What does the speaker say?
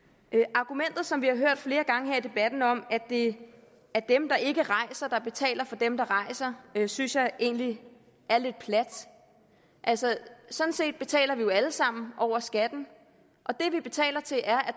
argumentet som vi har hørt flere gange her i debatten om at det er dem der ikke rejser der betaler for dem der rejser synes jeg egentlig er lidt plat altså sådan set betaler vi jo alle sammen over skatten og det vi betaler til er at